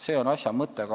See on asja mõte.